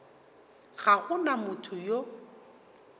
ga go na motho yo